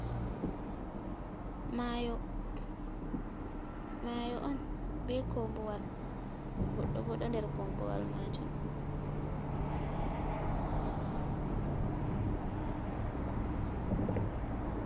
Mayo mayo on be kombuwal goɗɗo bo ɗo der kombowal majum.